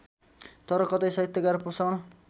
तर कतै साहित्यकार पोषण